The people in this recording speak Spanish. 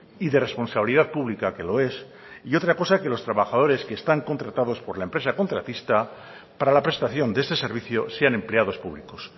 y de responsabilidad pública que lo es y otra cosa que los trabajadores que están contratados por la empresa contratista para la prestación de ese servicio sean empleados públicos